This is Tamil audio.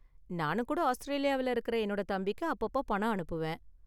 நானும் கூட ஆஸ்திரேலியாவுல இருக்குற என்னோட தம்பிக்கு அப்பப்போ பணம் அனுப்புவேன்.